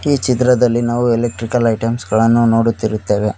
ಈ ಚಿತ್ರದಲ್ಲಿ ನಾವು ಎಲೆಕ್ಟ್ರಿಕಲ್ ಐಟಮ್ಸ್ ಗಳನ್ನು ನೋಡುತ್ತಿರುತ್ತವೆ.